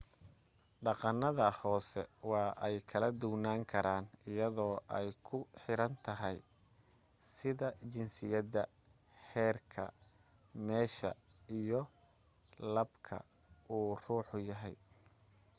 dhaqanada hoose waa ay kala duwanan karaan ayado ay ku xiran tahay da'da jinsiyada heerka meesha iyo labka uu ruuxa yahay